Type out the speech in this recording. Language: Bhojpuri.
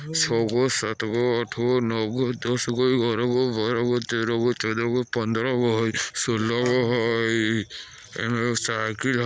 छह गो सात गो आठ गो नव गो दस गो बारह गो तेरहा गो चोदा गो पंन्द्राहा गो शोलाह गो